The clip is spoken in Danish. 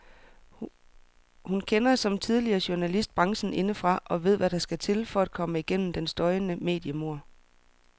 Hun kender, som tidligere journalist, branchen indefra og ved hvad der skal til for at komme gennem den støjende mediemur.